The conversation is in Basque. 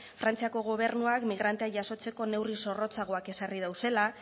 frantziako gobernuak migranteak jasotzeko neurri zorrotzagoak ezarri dituela